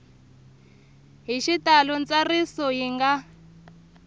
hi xitalo ntsariso yi nga